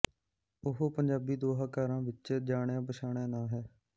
ਉਹ ਪੰਜਾਬੀ ਦੋਹਾਕਾਰਾਂ ਵਿੱਚ ਜਾਣਿਆ ਪਛਾਣਿਆ ਨਾਂ ਹੈ